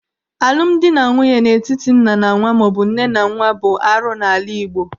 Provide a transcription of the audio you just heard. Alụmdi na nwunye n'etiti nna na nwa maọbụ nne na nwa bụ arụ n'ala Igbo.